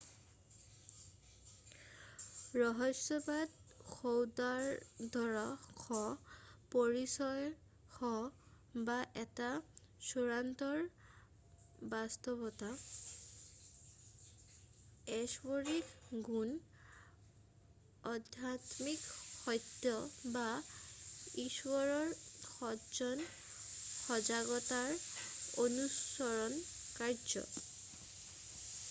ৰহস্যবাদ সৌহাৰ্দ্যৰ সহ পৰিচয় সহ বা এটা চূড়ান্ত বাস্তৱতা ঐশ্বৰিক গুণ আধ্যাত্মিক সত্য বা ঈশ্বৰৰ সজ্ঞান সজাগতাৰ অনুসৰণ কাৰ্য্য